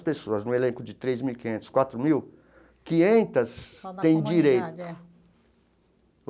Pessoas no elenco de três mil e quinhentos, quatro mil, quinhentas têm o direito.